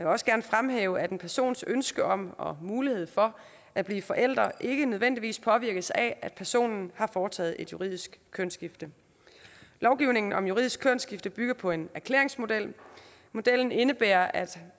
også gerne fremhæve at en persons ønske om og mulighed for at blive forælder ikke nødvendigvis påvirkes af at personen har foretaget et juridisk kønsskifte lovgivningen om juridisk kønsskifte bygger på en erklæringsmodel modellen indebærer at